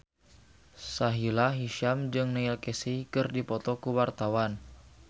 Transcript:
Sahila Hisyam jeung Neil Casey keur dipoto ku wartawan